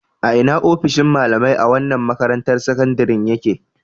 A ina ofishin malamai na wannan makarantar sakandaren ya ke?